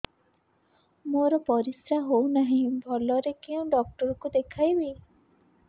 ମୋର ପରିଶ୍ରା ହଉନାହିଁ ଭଲରେ କୋଉ ଡକ୍ଟର କୁ ଦେଖେଇବି